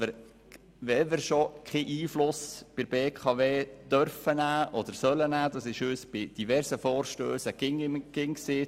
In verschiedenen Vorstössen wurde uns gesagt, dass wir keinen Einfluss auf die BKW nehmen können und sollen.